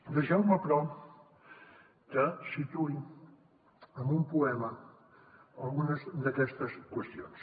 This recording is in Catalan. deixeu me però que situï amb un poema algunes d’aquestes qüestions